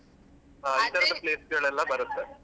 Place ಗಳೆಲ್ಲ ಬರುತ್ತೆ.